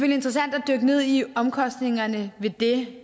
interessant at dykke ned i omkostningerne ved det